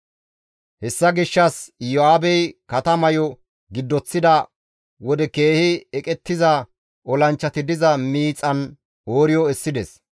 Hessa gishshas Iyo7aabey katamayo giddoththida wode keehi eqettiza olanchchati diza miixan Ooriyo essides.